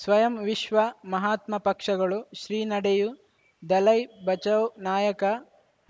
ಸ್ವಯಂ ವಿಶ್ವ ಮಹಾತ್ಮ ಪಕ್ಷಗಳು ಶ್ರೀ ನಡೆಯೂ ದಲೈ ಬಚೌ ನಾಯಕ